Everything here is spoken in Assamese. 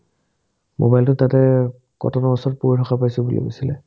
মোবাইলটো তাতে কটনৰ ওচৰত পৰি থকা পাইছে বুলি কৈছিলে